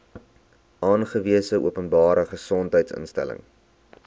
aangewese openbare gesondheidsinstelling